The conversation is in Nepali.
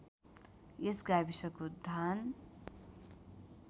यस गाविसको धान